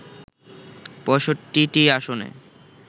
৬৫টি আসনে